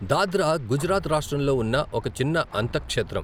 దాద్రా గుజరాత్ రాష్ట్రంలో ఉన్న ఒక చిన్న అంతక్షేత్రం.